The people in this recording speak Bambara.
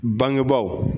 Bangebaaw